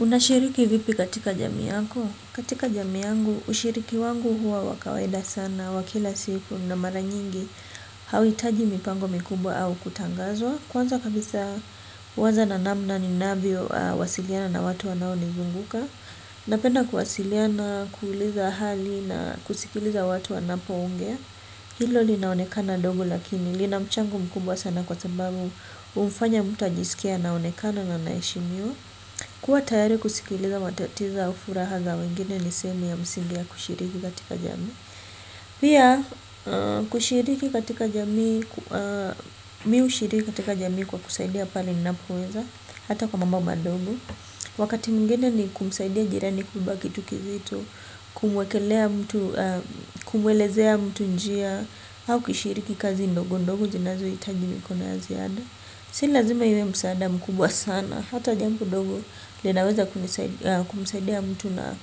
Unashiriki vipi katika jamii yako? Katika jamii yangu ushiriki wangu huwa wa kawaida sana wa kila siku na mara nyingi hauhitaji mipango mikubwa au kutangazwa. Kwanza kabisa huanza na namna ninavyo wasiliana na watu wanao nizunguka. Napenda kuwasiliana, kuuliza hali na kusikiliza watu wanapo ongea. Hilo linaonekana dogo lakini lina mchango mkubwa sana kwasababu humfanya mtu ajisikie anaonekana na anaheshimiwa. Kuwa tayari kusikiliza matatizo au fuhara za wengine ni sehemu ya msingi ya kushiriki katika jamii. Pia kushiriki katika jamii, mimi hushiriki katika jamii kwa kusaidia pale ninapoweza hata kwa mambo madogo. Wakati mwingine ni kumsaidia jirani kubeba kitu kizito, kumuekelea kumwelezea mtu njia au kushiriki kazi ndogo ndogo zinazo zinazohitaji mikono ya ziada si lazima iwe msaada mkubwa sana hata jambo dogo linaweza kumsaidia mtu na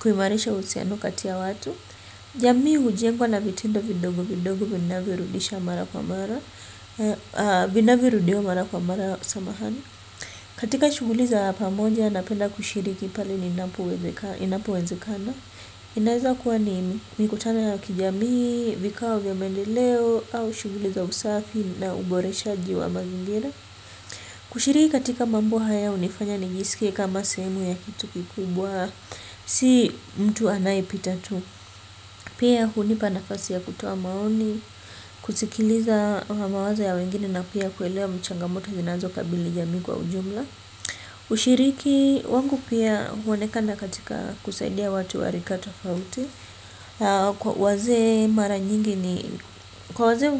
kuimarisha uhusiano kati ya watu. Jamii hujengwa na vitindo vidogo vidogo vinavyorudisha mara kwa mara, vinavyo rudiwa mara kwa mara samahani, katika shughuli za pamoja napenda kushiriki pale ninapowezekaa, inapowezekana inaweza kuwa nini? Mikutano ya kijamii, vikao vya maendeleo au shughuli za usafi na uboreshaji wa mazingira. Kushiriki katika mambo haya hunifanya nijsikie kama sehemu ya kitu kikubwa. Si mtu anayepita tu. Pia hunipa nafasi ya kutoa maoni, kusikiliza mawazo ya wengine na pia kuelewa changamoto zinazokabili jamii kwa ujumla. Ushiriki wangu pia huonekana katika kusaidia watu wa rika tofauti, wazee mara nyingi ni kwa wazee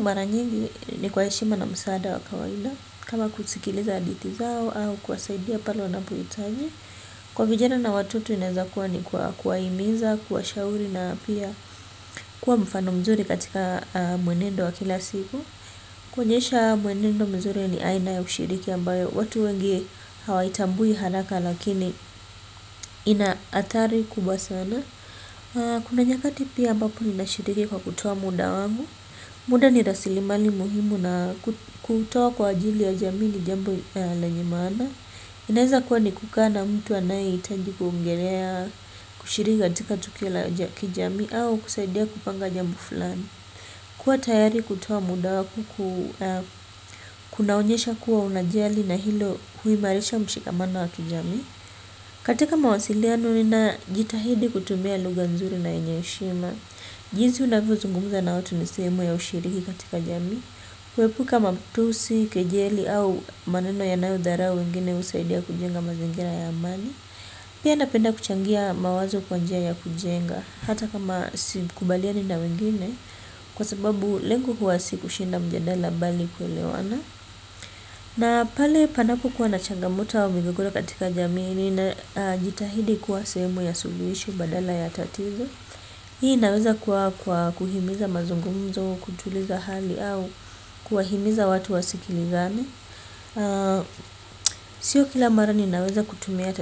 ni kwa heshima na msaada wa kawaida kama kusikiliza hadithi zao au kuwasaidia pale wanapohitaji, kwa vijana na watoto inawezakuwa ni kwa kuwahimiza, kuwashauri na pia kuwa mfano mzuri katika mwenendo wa kila siku. Kuonyesha mwenendo mzuri ni aina ya kushiriki ambayo watu wengi hawaitambui haraka lakini inahatari kubwa sana, kuna nyakati pia mbapo ninashiriki kwa kutoa muda wangu. Muda ni rasilimali muhimu na kutoa kwaajili ya jamii ni jambo lenye maana. Inaweza kuwa ni kukaa na mtu anayehitaji kuongelea kushiriki katika tukio la kijamii au kusaidia kupanga jambo fulani kuwa tayari kutoa muda wako kunaonyesha kuwa unajali na hilo huimarisha mshikamano wa kijamii, katika mawasiliano nina jitahidi kutumia lugha nzuri na yenye heshima jinsi unavyo zungumza na watu ni sehemu ya ushiriki katika jamii. Kuepuka matusi, kejeli au maneno yanayo dharau wengine husaidia kujenga mazingira ya amani, pia napenda kuchangia mawazo kwa njia ya kujenga hata kama sikubaliani na wengine kwasababu lengo huwa si kushinda mjadala bali nikuelewana, na pale panapo kuwa na changamoto au migogoro katika jamii ninajitahidi kuwa sehemu ya suluhisho badala ya tatizo. Hii inaweza kuwa kwa kuhimiza mazungumzo, kutuliza hali au kuwahimiza watu wa sikilizane. Sio kila mara ninaweza kutumia,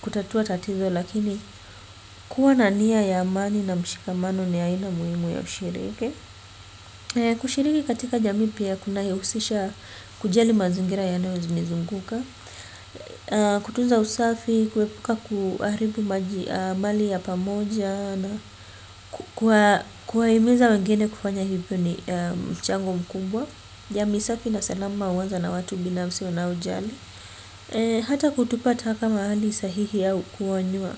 kutatua tatizo lakini kuwa na nia ya amani na mshikamano ni aina muhimu ya ushiriki. Kushiriki katika jamii pia kunayahusisha kujali mazingira yanayonizunguka. Kutuza usafi, kuepuka kuharibu maji, mali ya pamoja na ku, ku, kuwaa, kuwahimiza wengine kufanya hivyo ni mchango mkubwa. Jamii safi na salama huanza na watu binafsi wanaojali. Hata kutupa taka mahali sahihi au kuonywa.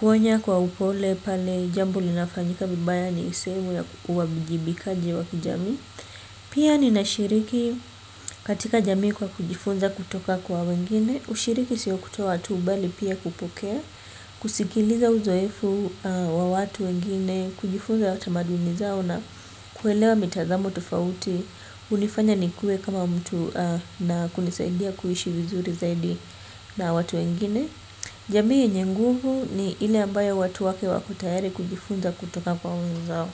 Kuonya kwa upole pale jambo linafanyika vibaya ni sehemu ya uwajibikaji wa kijamii pia ninashiriki katika jamii kwa kujifunza kutoka kwa wengine ushiriki sio kutoa tu bali pia kupokea, kusikiliza uzoefu wa watu wengine kujifunza tamaduni zao na kuelewa mitazamo tofauti hunifanya nikue kama mtu na kunisaidia kuishi vizuri zaidi na watu wengine. Jamii yenye nguvu ni ile ambayo watu wake wako tayari kujifunza kutoka kwa wenzao.